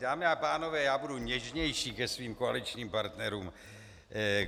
Dámy a pánové, já budu něžnější ke svým koaličním partnerům.